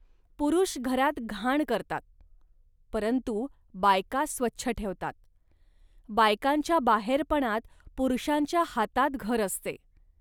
पुरुष घरात घाण करतात, परंतु बायका स्वच्छ ठेवतात. बायकांच्या बाहेरपणात पुरुषांच्या हातांत घर असते